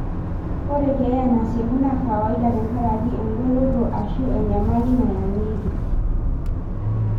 Ore keyaa nasieku naa kawaida tenkaraki engoloto ashu enyamali nayangieki.